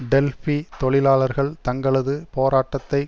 Delphi தொழிலாளர்கள் தங்களது போராட்டத்தை